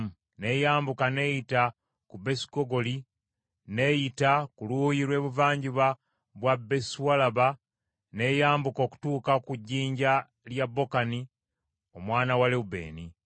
N’eyambuka n’eyita ku Besukogula n’eyita ku luuyi lw’ebuvanjuba bwa Besualaba n’eyambuka okutuuka ku jjinja lya Bokani omwana wa Lewubeeni.